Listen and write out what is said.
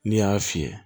N'i y'a fiyɛ